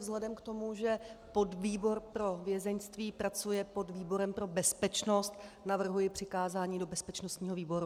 Vzhledem k tomu, že podvýbor pro vězeňství pracuje pod výborem pro bezpečnost, navrhuji přikázání do bezpečnostního výboru.